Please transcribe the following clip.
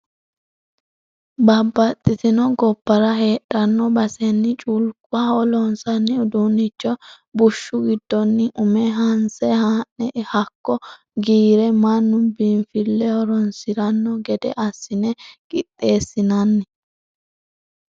Babbaxxitino gobbara heedhano baseni culkuha loonsanni uduunicho bushshu giddoni ume hanse haa'ne hakkoe giire mannu biinfileho horonsirano gede assine qixxeesinanni.